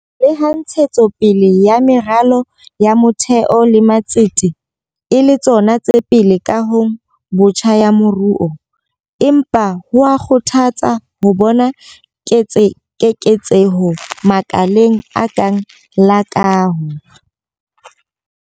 Leha ntshetso pele ya meralo ya motheo le matsete e le tsona tse pele kahong botjha ya moruo, empa ho a kgothatsa ho bona keketseho makaleng a kang la kaho.